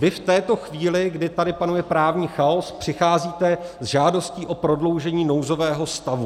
Vy v této chvíli, kdy tady panuje právní chaos, přicházíte s žádostí o prodloužení nouzového stavu.